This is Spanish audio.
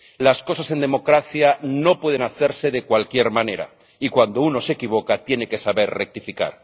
Las cosas en democracia no pueden hacerse de cualquier manera y cuando uno se equivoca tiene que saber rectificar.